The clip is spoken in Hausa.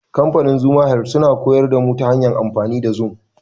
Kamfanin Zuma health sun horar da mu ta hanyar amfani da zum.